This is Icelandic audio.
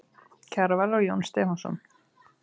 Kjarval og Jón Stefánsson.